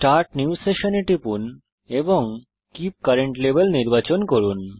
start new session এ টিপুন এবং কীপ কারেন্ট লেভেল নির্বাচন করুন